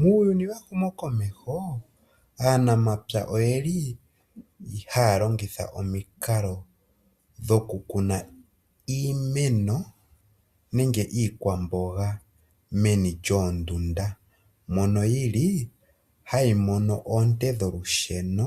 Muuyuni wehumo komeho, aanamapya oyeli haya longitha omikalo dhoku kuna iimeno nenge iikwamboga meni lyoondunda mono yili hayi mono oonte dholusheno